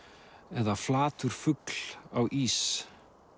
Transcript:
eða flatur fugl á ís